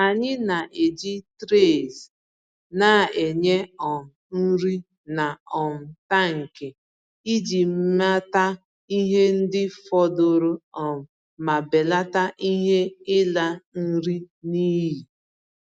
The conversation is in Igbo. Anyị na-eji trays na-enye um nri na um tankị iji mata ihe ndị fọdụrụ um ma belata ihe ịla nri n'iyi.